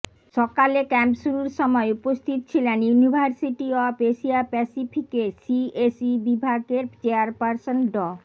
সকালে ক্যাম্প শুরুর সময় উপস্থিত ছিলেন ইউনিভার্সিটি অব এশিয়া প্যাসিফিকের সিএসই বিভাগের চেয়ারপারসন ড